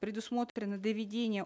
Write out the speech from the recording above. предусмотрено доведение